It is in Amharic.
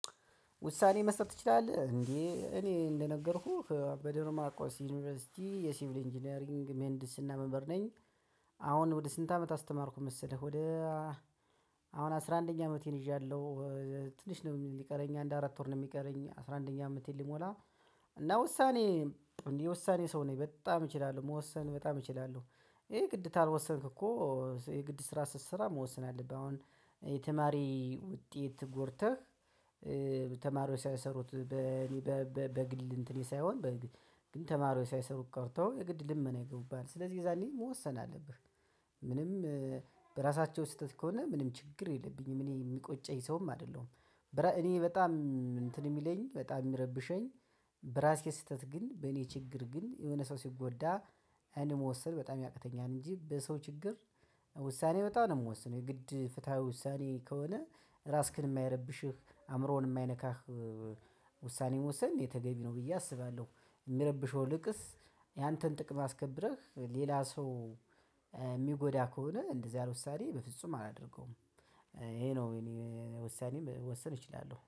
ውሳኔ መስጠት ትችላለህ እንዴ? እኔ እንደነገርኩህ በደብረ ማርቆስ ዩኒቨርሲቲ የሲቪል ኢንጂነሪንግ ሜህንዲስና መምህር ነኝ። አሁን ወደ ስንት አመት አስተማርኩ መሰለህ ወደ አሁን አስራ አንደኛ አመቴን ይዣለሁ። ትንሽ ነው የሚቀረኝ አንድ አራት ወር ነው የሚቀረኝ አስራ አንደኛ አመቴን ሊሞላ። እና ውሳኔ የውሳኔ ሰው ነኝ በጣም እችላለሁ መወሰን በጣም እችላለሁ። ይሄ ግድ ካልወሰንክ እኮ ይሄ ግድ ስራ ስትሰራ መወሰን አለብህ። አሁን የተማሪ ውጤት ጎርተህ ተማሪዎች ሳይሰሩት በግል እንትኔ ሳይሆን ግን ተማሪው ሳይሰሩት ቀርተው የግድ ልመና ይገቡብሃል ስለዚህ የዛኔ መወሰን አለብህ። ምንም በራሳቸው ስህተት ከሆነ ምንም ችግር የለብኝም እኔ የሚቆጨኝ ሰውም አይደለሁም። እኔ በጣም እንትን የሚለኝ በጣም የሚረብሸኝ በራሴ ስህተት ግን በኔ ችግር ግን የሆነ ሰው ሲጎዳ እኔ መወሰን በጣም ያቅተኛል። እንጂ በሰው ችግር ውሳኔ በጣም ነው የምወስነው የግድ ፍትሃዊ ውሳኔ ከሆነ። ራስክን የማይረብሽህ አእምሮህን የማይነካህ ውሳኔ መወሰን ተገቢ ነው ብዬ አስባለሁ። የሚረብሸው ይልቅስ ያንተን ጥቅም አስከብረህ ሌላ ሰው የሚጎዳ ከሆነ እንደዚህ አይነት ውሳኔ በፍጹም አላደርገውም። ይሄ ነው እኔ ውሳኔም መወሰን እችላለሁ